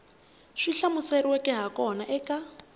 swi hlamuseriweke ha kona eka